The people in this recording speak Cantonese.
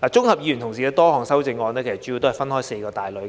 議員同事的修正案主要分為四大類，